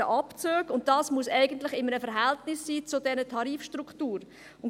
Das muss in einem Verhältnis zur Tarifstruktur stehen.